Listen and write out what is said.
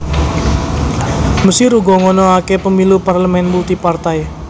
Mesir uga ngonoaké Pemilu parlemen multipartai